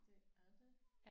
Det er det